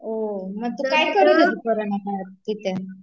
काय करत होती, करोंना काळात तिथ